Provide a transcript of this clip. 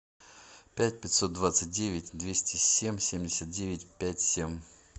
пять пятьсот двадцать девять двести семь семьдесят девять пять семь